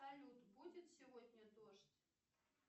салют будет сегодня дождь